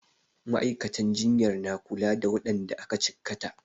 Ma'aikatan jinyar na kula da waɗanda aka cikkata.